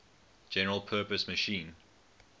general purpose machine